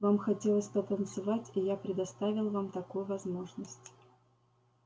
вам хотелось потанцевать и я предоставил вам такую возможность